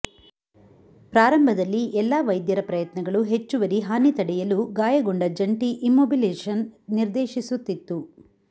ಪ್ರಾರಂಭದಲ್ಲಿ ಎಲ್ಲಾ ವೈದ್ಯರ ಪ್ರಯತ್ನಗಳು ಹೆಚ್ಚುವರಿ ಹಾನಿ ತಡೆಯಲು ಗಾಯಗೊಂಡ ಜಂಟಿ ಇಮ್ಮೊಬಿಲಿಜೆಶನ್ ನಿರ್ದೇಶಿಸುತ್ತಿತ್ತು